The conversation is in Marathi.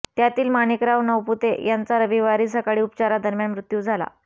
त्यातील माणिकराव नवपुते यांचा रविवारी सकाळी उपचारादरम्यान मृत्यू झाला